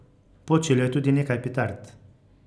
Počilo je tudi nekaj petard.